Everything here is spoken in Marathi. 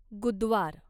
गुदद्वार